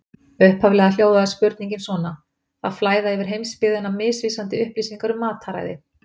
Upphaflega hljóðaði spurningin svona: Það flæða yfir heimsbyggðina misvísandi upplýsingar um mataræði.